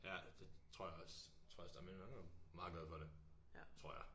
Ja det tror jeg også tror jeg også det er men han er meget glad for det tror jeg